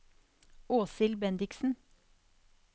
Åshild Bendiksen